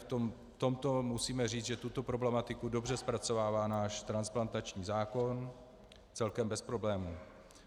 V tomto musíme říct, že tuto problematiku dobře zpracovává náš transplantační zákon, celkem bez problémů.